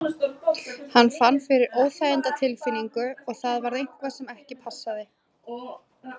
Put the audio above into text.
Hann fann fyrir óþægindatilfinningu og það var eitthvað sem ekki passaði.